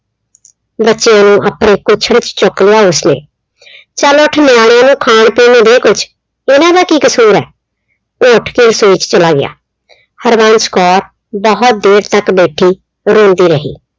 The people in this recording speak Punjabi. ਬੱਚਿਆਂ ਨੂੰ ਆਪਣੀ ਕੁੱਛੜ ਚ ਚੁੱਕ ਲਿਆ ਉਸਨੇ, ਚੱਲ ਉੱਠ ਨਿਆਣਿਆਂ ਨੂੰ ਖਾਣ ਪੀਣ ਨੂੰ ਦੇ ਕੁੱਛ, ਉਹਨਾਂ ਦਾ ਕੀ ਕਸੂਰ ਏ। ਉਹ ਉੱਠ ਕੇ ਰਸੋਈ ਚ ਚਲਾ ਗਿਆ। ਹਰਬੰਸ ਕੌਰ ਬਹੁਤ ਦੇਰ ਤੱਕ ਬੈਠੀ ਰੋਂਦੀ ਰਹੀ।